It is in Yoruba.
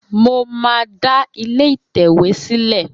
Mo máa da ilé ìtẹ̀wé sìlé